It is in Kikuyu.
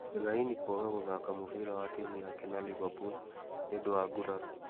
Fellaini kwaga kũthaka mũbiira wa timu yake na Liverpool nĩ ũndũ wa nguraro.